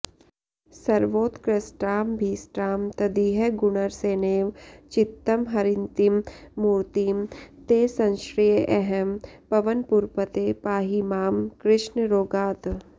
सर्वोत्कृष्टामभीष्टां तदिह गुणरसेनैव चित्तं हरन्तीं मूर्तिं ते संश्रयेऽहं पवनपुरपते पाहि मां कृष्ण रोगात्